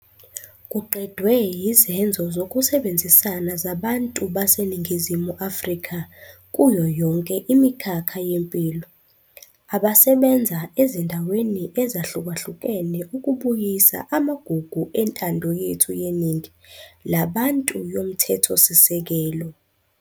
Kuqedwe yizenzo zokusebenzisana zabantu baseNingizimu Afrika kuyo yonke imikhakha yempilo, abasebenza ezindaweni ezahlukahlukene ukubuyisa amagugu entando yethu yeningi labantu yomthethosisekelo.